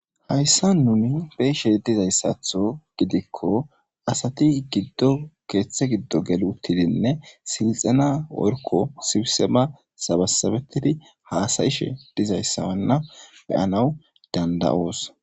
Hayssa nuni beshe dizayssatho gidikko asati giddo keeththe giddo geli uttidinne silxana worko sibisema sabasabetidi haasayishe dizayssawanna beyanaw danda's.